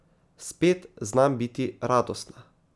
Spet znam biti radostna.